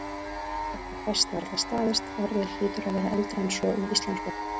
Þetta fæst varla staðist, orðið hlýtur að vera eldra en svo í íslensku.